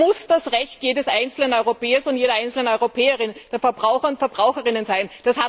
Das muss das Recht jedes einzelnen Europäers und jeder einzelnen Europäerin, der Verbraucher und Verbraucherinnen sein.